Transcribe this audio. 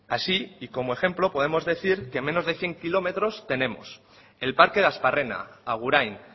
así y como ejemplo podemos decir que en menos de cien kilómetros tenemos el parque de asparrena agurain